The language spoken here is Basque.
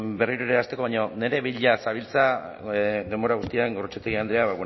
berriro ere hasteko baina nire bila zabiltza denbora guztian gorrotxategi andrea